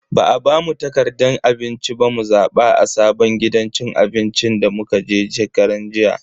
Ba a bamu takardan abinci ba mu zaba a sabon gidan cin abinci da muka je shekaran jiya.